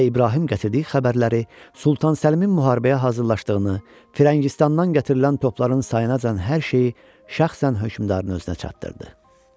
Bəy İbrahim gətirdiyi xəbərləri, Sultan Səlimin müharibəyə hazırlaşdığını, Firəngistandan gətirilən topların sayınacan hər şeyi şəxsən hökmdarın özünə çatdırdı.